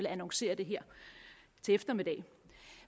annoncere det her til eftermiddag